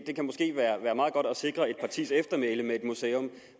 det kan måske være meget godt at sikre et partis eftermæle med et museum